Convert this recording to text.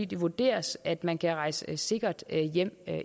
det vurderes at man kan rejse sikkert hjem